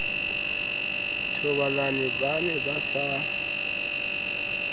thobalane ba ne ba sa